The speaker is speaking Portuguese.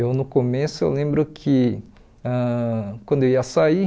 Eu, no começo, eu lembro que ãh quando eu ia sair,